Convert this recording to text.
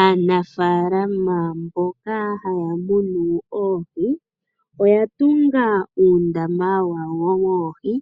Aanafaalama mboka haya munu oohi, oya tunga uundama wawo woohi